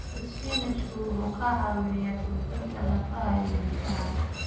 Isbaanishku wuxuu ka caawiyaa xoojinta lafaha iyo ilkaha.